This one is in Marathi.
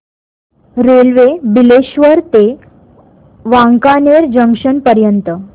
रेल्वे बिलेश्वर ते वांकानेर जंक्शन पर्यंत